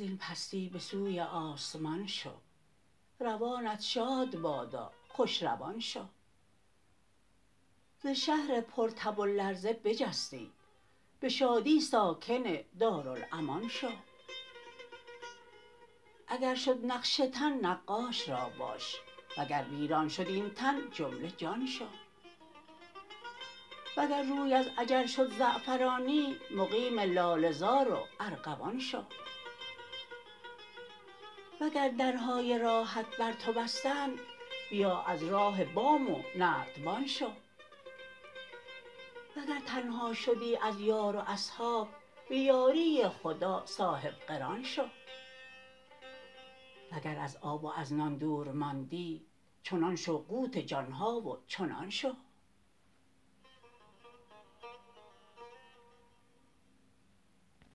این پستی به سوی آسمان شو روانت شاد بادا خوش روان شو ز شهر پرتب و لرزه بجستی به شادی ساکن دارالامان شو اگر شد نقش تن نقاش را باش وگر ویران شد این تن جمله جان شو وگر روی از اجل شد زعفرانی مقیم لاله زار و ارغوان شو وگر درهای راحت بر تو بستند بیا از راه بام و نردبان شو وگر تنها شدی از یار و اصحاب به یاری خدا صاحب قران شو وگر از آب و از نان دور ماندی چو نان شو قوت جان ها و چنان شو